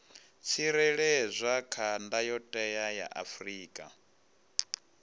tsireledzwa kha ndayotewa ya afrika